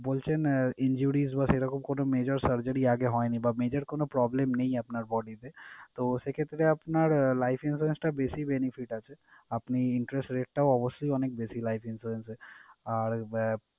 বলছেন ah injuries বা সেরকম কোন major surgery আগে হয়নি বা major কোন problem নেই আপনার bodies এ। তো সেই ক্ষেত্রে আপনার life insurance টা বেশি benefit আছে। আপনি interest rate টাও অবশ্যই অনেক বেশি life insurance এ। আর আহ,